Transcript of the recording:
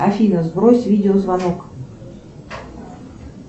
афина сбрось видеозвонок